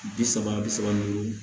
Bi saba bi saba ni duuru